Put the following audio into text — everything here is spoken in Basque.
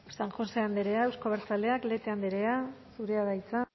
eskerrik asko san josé andrea euzko abertzaleak lete andrea zurea da hitza